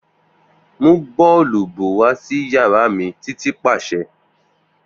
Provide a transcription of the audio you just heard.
Mu boolubu wa si yara mi Titi paṣẹ.